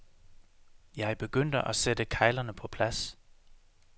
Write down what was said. Jeg begyndte at sætte keglerne på plads.